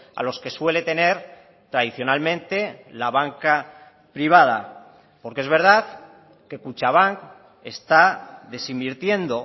a los que suele tener tradicionalmente la banca privada porque es verdad que kutxabank está desinvirtiendo